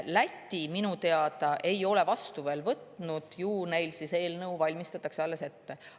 Läti minu teada ei ole veel vastu võtnud, ju neil siis eelnõu alles valmistatakse ette.